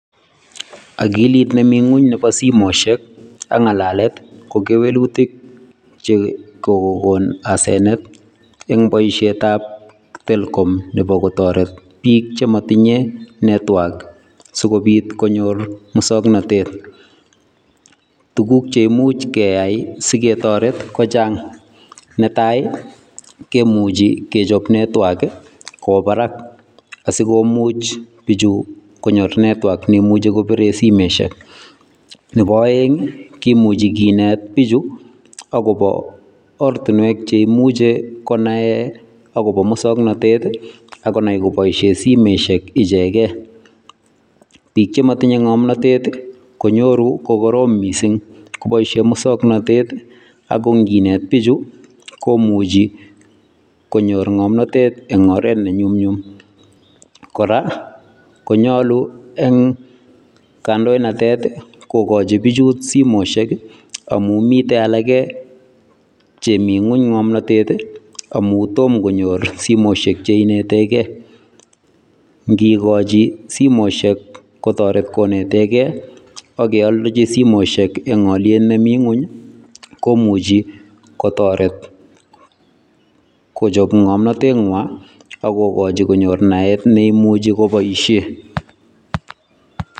Akilit nemi ngwony nebo simoishek ak ngalalet ko kewelutik che kokon asenet eng boisietab Telkom nebo kotoret biik chematinyei network sikopit konyoru muswoknatet. Tuguk che imuch keyai siketoret kochang, ne tai, kemuchi kechop network kowo barak asikomuch konyor biichu network ne imuchi kopire simoishek, nebo aeng, kimuchi kinet biichu akobo oratinwek che imuche konae akobo muswoknatet ako nai kopoishen simoishek ichekei. Biik chematinyei ngomnatet konyoru kokoroom mising kopoishen muswoknatet ako ngiinet biichu komuchei konyor ngomnotet eng oret ne nyumnyum. Kora konyolu eng kandoinatet kokochi biichut simoishek amun mitei alakei chemi ngwony ngomnatet amun tomo konyor simoshek che inetekei. Ngiikochi simoshek kotoreti konetekei ak keolchi simoishek eng aliet nemi ngwony komuchi kotoret kochop ngomnotengwai ako kokochi konyor naet neimuchi kopoishen.